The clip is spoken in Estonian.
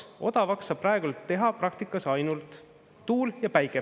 Odavaks saab praegu teha praktikas ainult tuul ja päike.